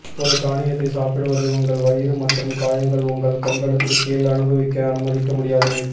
ஒரு தானியத்தை சாப்பிடுவது உங்கள் வயிறு மற்றும் காயங்கள் உங்கள் கண்களுக்கு கீழ் அனுபவிக்க அனுமதிக்க முடியாது